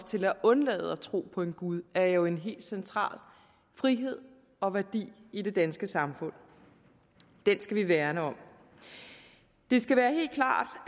til at undlade at tro på en gud er jo en helt central frihed og værdi i det danske samfund den skal vi værne om det skal være helt klart